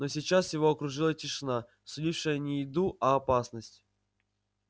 но сейчас его окружала тишина сулившая не еду а опасность